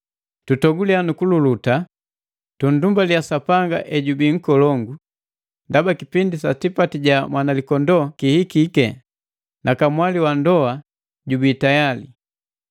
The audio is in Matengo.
Tutoguliya nu kululuta, tundumbaliya Sapanga ejubii nkolongu, ndaba kipindi sa tipati jaka Mwanalikondoo kihikike na kamwali wa ndou jubii tiyale.